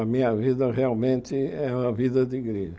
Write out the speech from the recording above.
A minha vida realmente é a vida de igreja.